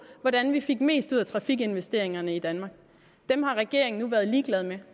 hvordan vi får mest ud af trafikinvesteringerne i danmark den har regeringen nu været ligeglad med